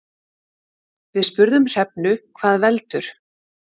Við spurðum Hrefnu hvað veldur.